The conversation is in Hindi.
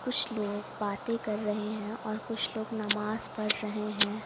कुछ लोग बातें कर रहे हैं और कुछ लोग नमाज़ पढ़ रहे हैं।